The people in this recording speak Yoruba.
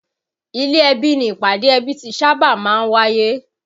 Ilé ẹbí ni ìpàdé ẹbí ti sábà máa ń wáyé